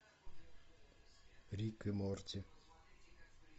рик и морти